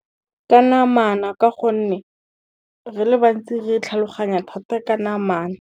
Ka namana ka gonne, re le bantsi re tlhaloganya thata ka namana.